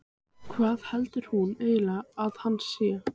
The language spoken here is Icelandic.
Hvað heldur hún eiginlega að hann sé?